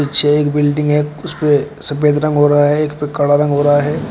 एक बिल्डिंग है उसपे सफेद रंग हो रहा है और एक पे काला रंग हो रहा है।